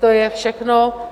To je všechno.